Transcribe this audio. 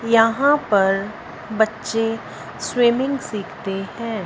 यहां पर बच्चे स्विमिंग सीखते हैं।